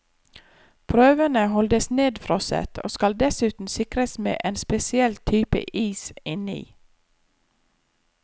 Prøvene holdes nedfrosset, og skal dessuten sikres med en spesiell type is inni.